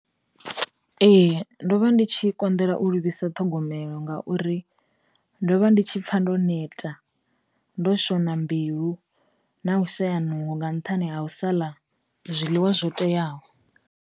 Ee, ndo vha ndi tshi konḓela u livhisa ṱhogomelo ngauri, ndo vha ndi tshi pfa ndo neta, ndo shona mbilu na u shaya nungo nga nṱhani ha u sala zwiḽiwa zwo teaho.